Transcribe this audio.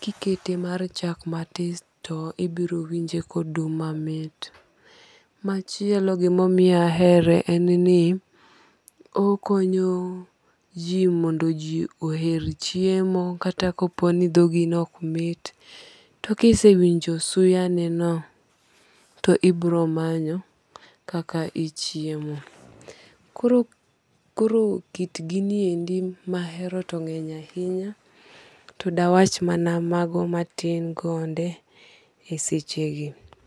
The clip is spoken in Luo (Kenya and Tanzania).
ki ikete mae chak ma tis ti ibiro winjo kanyo dum mamit. Machielo gi ma omiyo ahere en ni, okonyo ji mondo ji oher chiemo kata ka po ni dhogi ne ok mit to ka isewinjo suya ne no, to ibiro manyo kaka ichiemo koro koro kit gini endi ma ahero to ng'eny ahinya to de awach mana mago ma tin gonde e seche gi.